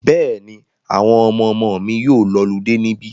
Bẹ́ẹ̀ni, àwọn ọmọmọ mi yóò lọludé níbí.